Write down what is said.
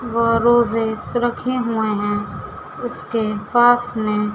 व रोजेज रखे हुए हैं उसके पास में--